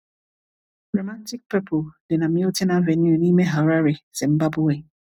Romantic Purple dị na Milton Avenue nime Harare, Zimbabwe.